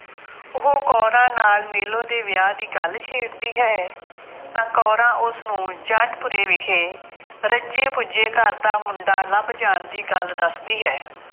ਉਹ ਕੌਰਾਂ ਨਾਲ ਮੇਲੋ ਦੇ ਵਿਆਹ ਦੀ ਗੱਲ ਛੇੜਦੀ ਹੈ, ਤਾਂ ਕੌਰਾਂ ਉਸਨੂੰ ਜੰਡਪੁਰੇ ਵਿਖੇ ਰੱਜੇ ਪੁੱਜੇ ਘਰ ਦਾ ਮੁੰਡਾ ਲੱਭ ਜਾਣ ਦੀ ਗੱਲ ਦੱਸਦੀ ਹੈ।